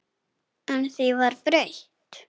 En því var breytt.